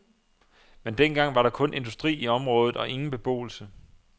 Men den gang var der kun industri i området og ingen beboelse.